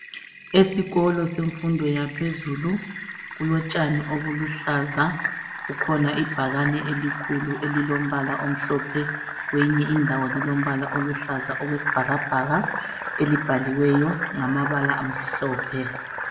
Esikolo semfundo yaphezulu kulotshani obuluhlaza, kukhona ibhakane elikhulu elilombala omhlophe kweyinye indawo lilombala oluhlaza okwesibhakabhaka elibhaliweyo ngamabala amhlophe.